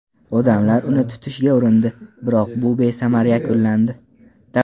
Odamlar uni tutishga urindi, biroq bu besamar yakunlandi.